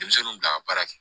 Denmisɛnninw bila ka baara kɛ